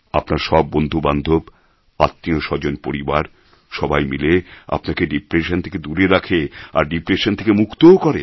আপনার সব বন্ধু বান্ধব আত্মীয় স্বজন পরিবার সবাই মিলে আপনাকে ডিপ্রেশন থেকে দূরে রাখে আর ডিপ্রেশন থেকে মুক্তও করে